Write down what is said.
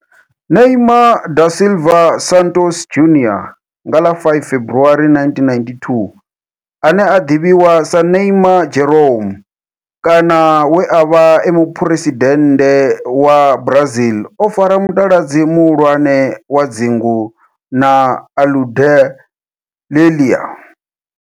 Neymar da Silva Santos Junior, nga ḽa 5 February 1992, ane a ḓivhiwa sa Ne'ymar' Jeromme kana we a vha e muphuresidennde wa Brazil o fara mutaladzi muhulwane wa dzingu na Aludalelia.